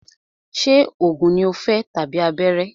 Ṣé oògùn ní o fẹ́ tàbí abẹ́rẹ́?